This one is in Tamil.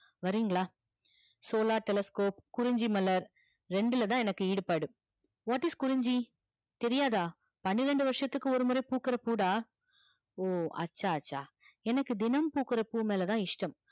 வரிங்கலா solar telescope குறிஞ்சி மலர் ரெண்டுலதா எனக்கு ஈடுபாடு what is குறிஞ்சி தெரியாதா பன்னிரண்டு வர்சத்துக்கு ஒரு முற பூக்குற பூ டா ஓ அச்சா அச்சா எனக்கு தினமும் பூக்குற பூ மேளதா இஷ்டம்